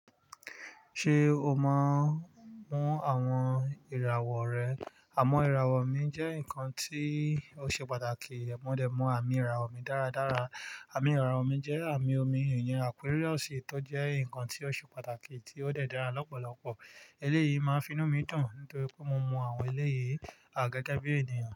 Ṣé o mọ mọ́ àwọn ìràwọ̀ rẹ? Àmọ́ ìràwọ̀ mi jẹ́ nǹkan tí ó ṣe pàtàkì. Ẹ̀mọ́ dẹ̀ mú àmì ìràwọ̀ mi dáradára. Àmì ìràwọ̀ mi jẹ́ àmì omi ìyen Aquarius, tó jẹ́ nǹkan tí ó ṣe pàtàkì tí ó dẹ̀ dára lọ́pọ̀lọpọ̀. Eléyìí máa ń fi inú mi dùn nítorí pé mo mọ àwọn eléyìí àgẹ́gẹ́bí ènìyàn.